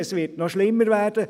Es wird noch schlimmer werden.